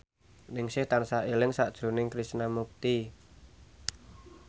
Ningsih tansah eling sakjroning Krishna Mukti